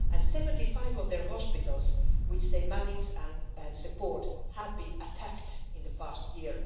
Seventy five of the hospitals that MSF manages and supports have been attacked in the past year.